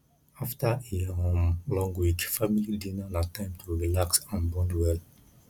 after a um long week family dinner na time to relax and bond well